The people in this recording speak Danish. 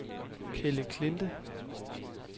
Kelleklinte